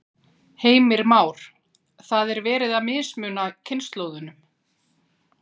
Heimir Már: Það er verið að mismuna kynslóðunum?